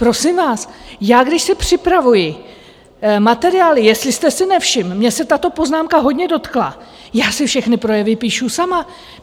Prosím vás, já, když si připravuji materiály - jestli jste si nevšiml, mě se tato poznámka hodně dotkla - já si všechny projevy píšu sama.